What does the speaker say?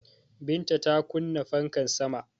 Binta ta kunna fanka sama